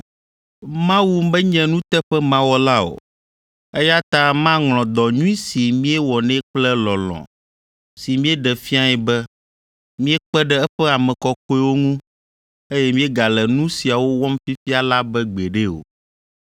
Mawu menye nuteƒemawɔla o, eya ta maŋlɔ dɔ nyui si míewɔ nɛ kple lɔlɔ̃ si míeɖe fiae be míekpe ɖe eƒe ame kɔkɔewo ŋu eye míegale nu siawo wɔm fifia la be gbeɖe o.